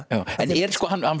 er